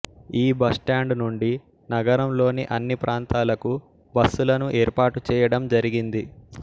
ఈ బస్టాండు నుండి నగరంలోని అన్ని ప్రాంతాలకు బస్సులను ఏర్పాటుచేయడం జరిగింది